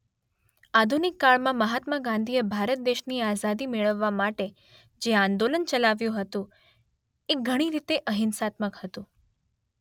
આધુનિક કાળમાં મહાત્મા ગાંધીએ ભારત દેશની આઝાદી મેળવવા માટે જે આંદોલન ચલાવ્યું હતું તે ઘણી રીતે અહિંસાત્મક હતું.